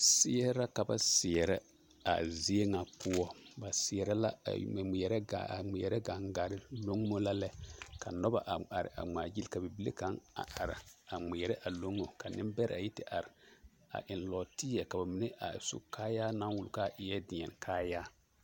Seɛre la ka ba seɛrɛ a zie ŋa poɔ, ba seɛrɛ la a ŋmeɛrɛ gaŋgare; loŋimo la lɛ, ka noba a are a ŋmaa gyili ka bibile kaŋ a are a ŋmeɛrɛ a loŋo ka nembɛrɛ yi te are a eŋ nɔɔteɛ ka ba mine a su kaayaa naŋ wuli k'a eɛ deɛne kaayaa.